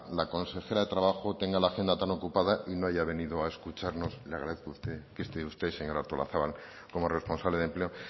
la consejera de trabajo tenga la agenda tan ocupada y no haya venido a escucharnos le agradezco a usted que esté usted señora artolazabal como responsable de empleo